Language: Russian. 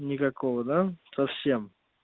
никакого да совсем